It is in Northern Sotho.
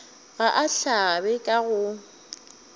ga a hlabe ka go